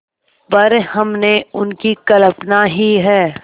पर हमने उनकी कल्पना ही है